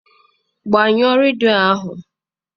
Gbanye redio ahụ!